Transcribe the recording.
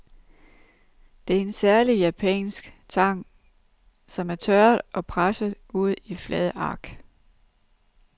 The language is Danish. Det er en særlig japansk tang, som er tørret og presset ud i flade ark.